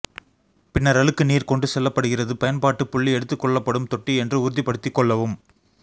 பின்னர் அழுக்கு நீர் கொண்டு செல்லப்படுகிறது பயன்பாட்டு புள்ளி எடுத்துக் கொள்ளப்படும் தொட்டி என்று உறுதிப்படுத்திக் கொள்ளவும்